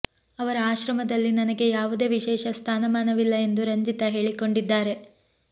ಅವರ ಆಶ್ರಮದಲ್ಲಿ ನನಗೆ ಯಾವುದೇ ವಿಶೇಷ ಸ್ಥಾನಮಾನವಿಲ್ಲ ಎಂದು ರಂಜಿತಾ ಹೇಳಿಕೊಂಡಿದ್ದಾರೆ